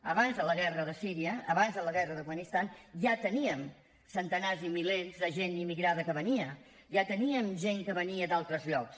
abans de la guerra de síria abans de la guerra de l’afganistan ja teníem centenars i milers de gent immigrada que venia ja teníem gent que venia d’altres llocs